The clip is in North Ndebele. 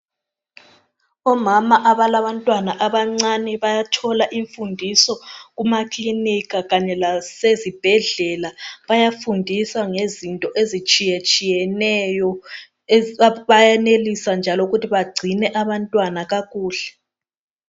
Omama abalabantwana abancane bayathola imfundiso kuma clinika kanye lasezibhedlela ,bayafundiswa ngezinto ezitshiye tshiyeneyo bayenelisa njalo ukuthi bagcine abantwana kakuhle .